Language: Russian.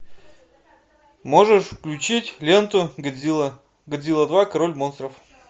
можешь включить ленту годзилла годзилла два король монстров